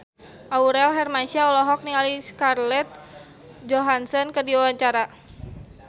Aurel Hermansyah olohok ningali Scarlett Johansson keur diwawancara